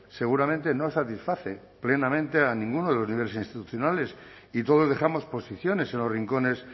seguramente no satisface plenamente a ninguno de los niveles institucionales y todos dejamos posiciones en los rincones